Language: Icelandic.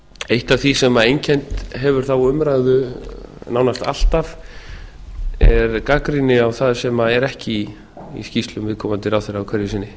eitt af því sem einkennt hefur þá umræðu nánast alltaf er gagnrýni á það sem er ekki í skýrslum viðkomandi ráðherra hverju sinni